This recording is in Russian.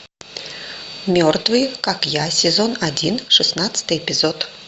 мертвые как я сезон один шестнадцатый эпизод